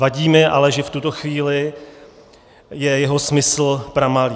Vadí mi ale, že v tuto chvíli je jeho smysl pramalý.